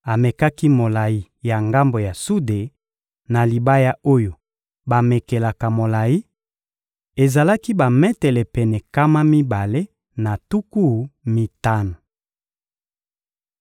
Amekaki molayi ya ngambo ya sude na libaya oyo bamekelaka molayi: ezalaki bametele pene nkama mibale na tuku mitano.